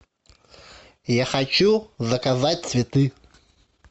я хочу заказать цветы